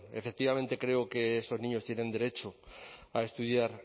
efectivamente creo que estos niños tienen derecho a estudiar